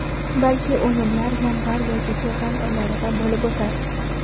Balki o‘yinlar yanvar yoki fevral oylarida bo‘lib o‘tar.